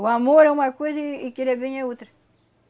O amor é uma coisa e e querer bem é outra.